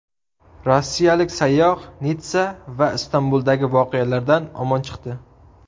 Rossiyalik sayyoh Nitssa va Istanbuldagi voqealardan omon chiqdi.